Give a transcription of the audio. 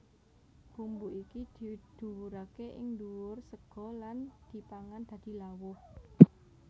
Bumbu iki diwurake ing ndhuwur sega lan dipangan dadi lawuh